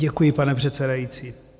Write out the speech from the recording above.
Děkuji, pane předsedající.